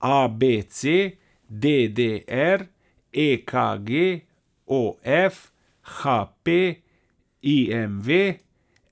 A B C; D D R; E K G; O F; H P; I M V;